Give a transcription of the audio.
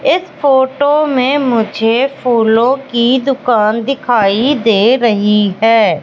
इस फोटो में मुझे फूलों की दुकान दिखाई दे रही है।